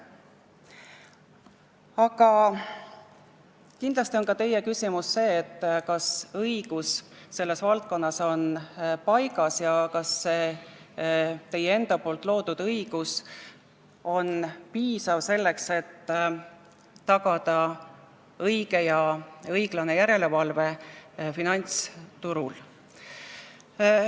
Aga kindlasti on ka teil see küsimus, kas õigus selles valdkonnas on paigas ja kas teie enda loodud õigus on piisav, selleks et tagada õige ja õiglane järelevalve finantsturul.